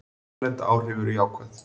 Erlend áhrif eru jákvæð.